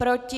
Proti?